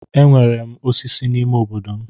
Enwere m osisi n'ime obodo m.